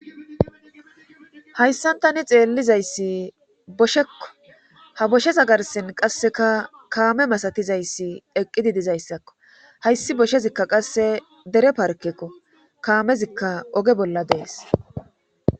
hayssan tani xeellizayssi boshekko ha bosheza garsin qasseka kaame masatizayssi eqqidi dizayssakko hayssi boshezikka qasse dere parkekko kaamezikka oge bolla dees